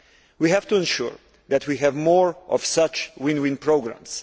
We have to ensure that we have more of such win win programmes.